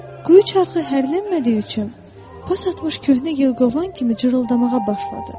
Quyu çarxı hərlənmədiyi üçün pas atmış köhnə yılqovan kimi cırıltamağa başladı.